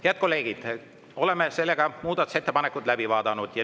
Head kolleegid, oleme muudatusettepanekud läbi vaadanud.